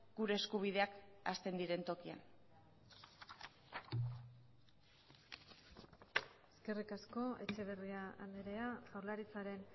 gure eskubideak hasten diren tokian eskerrik asko etxeberria andrea jaurlaritzaren